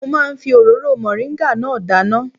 Mo máa ń fi òróró mọ̀ríńgà náà dáná